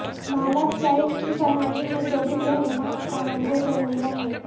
malachite کی فراہمی میں جدید رہنما کانگو جمہوریہ ہے